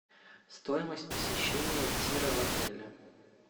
стоимость посещения тира в отеле